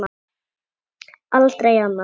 Aldrei annað.